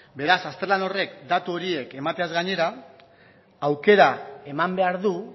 beraz azterlan horrek datu horiek emateaz gainera aukera eman behar du